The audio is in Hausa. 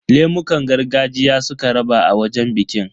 Lemukan gargajiya suka raba a wajen bikin.